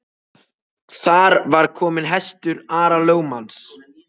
Þar var kominn hestur Ara lögmanns.